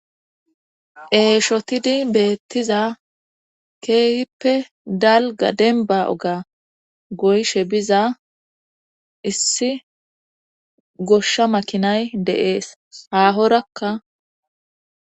Eeshotidi beettiza keehippe dalga demba oga goyshe biza issi goshsha makinay de7ees haahorakka.